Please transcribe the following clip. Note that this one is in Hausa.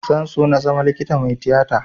Zan so na zama likita mai tiyata